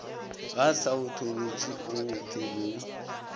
ga saetholotši go go theilwego